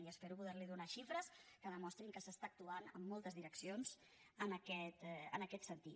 i espero poder·li donar xifres que demostrin que s’està actuant en moltes direccions en aquest sentit